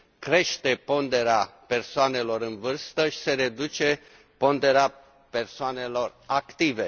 crește ponderea persoanelor în vârstă și se reduce ponderea persoanelor active.